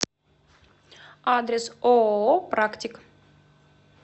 адрес ооо практик